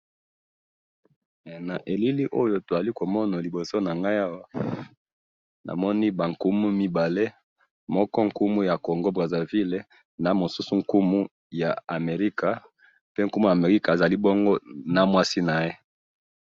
Na elili oyo tozali komona liboso nangayi awa, namoni bankumu mibale, moko nkumu ya congo Brazzaville, namosusu nkumu ya America, mpe nkumu ya America azali bongo na mwasi naye